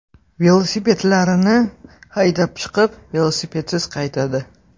Velosipedlarini haydab chiqib, velosipedsiz qaytadi.